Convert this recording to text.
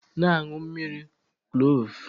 Na-aṅụ mmiri Kloovu!